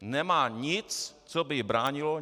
Nemá nic, co by jí bránilo...